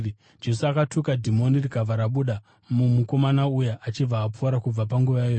Jesu akatuka dhimoni rikabva rabuda mumukomana uya achibva apora kubva panguva iyoyo.